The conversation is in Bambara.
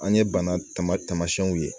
An ye bana tamasiɲɛw ye